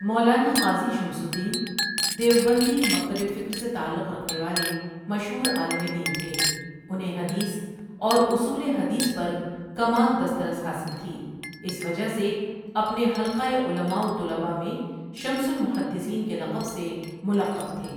مولانا Qazi Shamsuddin Deobandi مکتب فکرسےتعلق رکھنےوالےمشہورعالم دین تھے انہیں حدیث اوراصول حدیث پرکمال دسترس حاصل تھی اس وجہ سےاپنےحلقہ علماءوطلبا میں شمس المحدثین کےلقب سے ملقب تھے۔